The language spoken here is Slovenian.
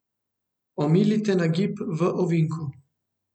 Omilite nagib v ovinku.